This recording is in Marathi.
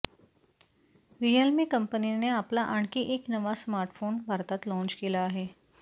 रियलमी कंपनीने आपला आणखी एक नवा स्मार्टफोन भारतात लाँच केला आहे